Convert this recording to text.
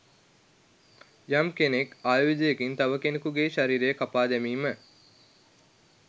යම් කෙනෙක් ආයුධයකින් තව කෙනකුගේ ශරීරය කපා දැමීම